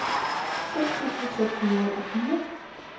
seks tusind seks hundrede og fire